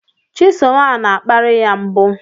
Chisom a na-akparị ya mbụ